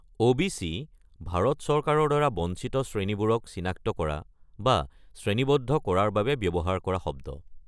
OBC. Bharat চৰকাৰৰ দ্বাৰা বঞ্চিত শ্ৰেণীবোৰক চিনাক্ত কৰা বা শ্ৰেণীবদ্ধ কৰাৰ বাবে ব্যৱহাৰ কৰা শব্দ।